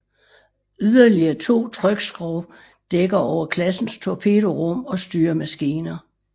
Yderligere to trykskrog dækker over klassens torpedorum og styremaskiner